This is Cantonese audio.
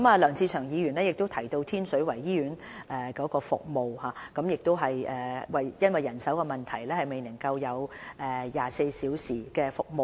梁志祥議員提到天水圍醫院的服務，指因為人手問題，醫院未能提供24小時的急症室服務。